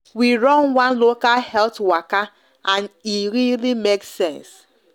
we run one local health waka and e really make sense